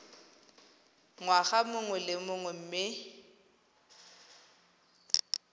ngwaga mongwe le mongwe mme